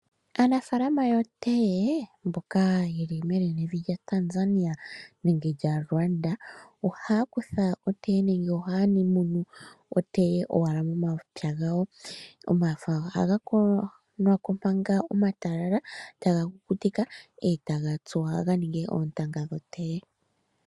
Aanafaalama yotee mbono yeli menenevi lyaTanzania nenge lyaLuanda ohaa munu/ningi otee okuza momapya gawo . Omafo ohaga kuthwako manga omatalala eta ga kukutikwa etaga tsuwa ga ninge oontanga dhotee.